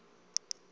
sasekapa